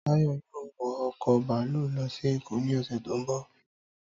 Táyọ̀ yóò wọ ọkọ̀ bàlúù lọ sí Èkó ní ọ̀sẹ̀ tó ń bọ̀